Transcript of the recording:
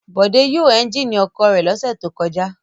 Bọ̀dé yóò ẹ́ńjínì ọ̀kadà rẹ̀ lọ́sẹ̀ tó kọjá.